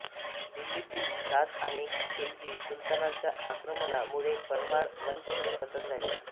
दिल्ली तील दास आणि खिलजी सुलतानांच्या आक्रमणा मुळे परमार वंश चे पतन झाले